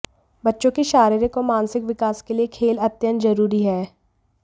बच्चों के शारीरिक और मानसिक विकास के लिए खेल अत्यंत जरूरी है